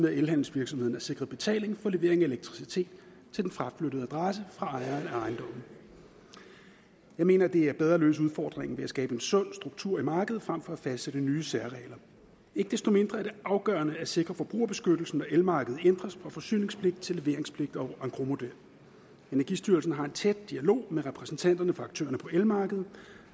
at elhandelsvirksomheden er sikret betaling for levering af elektricitet til den fraflyttede adresse fra ejeren af ejendommen jeg mener at det er bedre at løse udfordringen ved at skabe en sund struktur i markedet frem for at fastsætte nye særregler ikke desto mindre er det afgørende at sikre forbrugerbeskyttelsen når elmarkedet ændres fra forsyningspligt til leveringspligt og engrosmodel energistyrelsen har en tæt dialog med repræsentanterne for aktørerne på elmarkedet